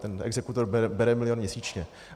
Ten exekutor bere milion měsíčně.